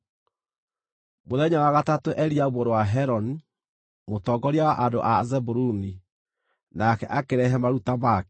Mũthenya wa gatatũ Eliabu mũrũ wa Heloni, mũtongoria wa andũ a Zebuluni, nake akĩrehe maruta make.